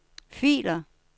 filer